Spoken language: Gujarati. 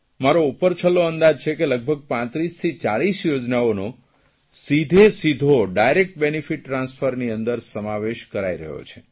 મારો ઉપર છલ્લો અંદાજ છે કે લગભગ 35 થી 40 યોજનાઓનો સીધેસીધો ડાયરેક્ટ બેનીફીટ ટ્રાન્સફરની અંદર સમાવેશ કરાઇ રહ્યો છે